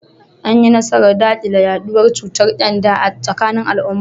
An yi nasarar dakile yaduwar cutar kyanda a tsakanin al’umma.